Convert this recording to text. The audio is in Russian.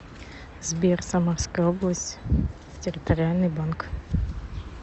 сбер самарская область территориальный банк